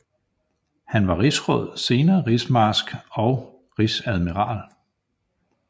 Han var Rigsråd senere Rigsmarsk og Rigsadmiral